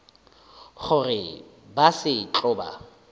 gore ba se tlo ba